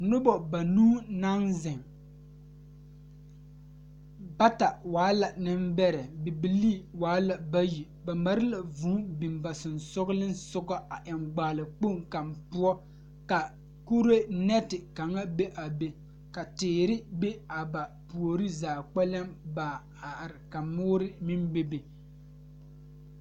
Noba la a kyɛne bamine de la wiɛ a yeere yeere baagre kaŋa soba meŋ e la gbɛre a zeŋ gbɛre saakere poɔ kyɛ kaa kaŋa soba paŋ daare o ,o meŋ yeere la baagi o puori.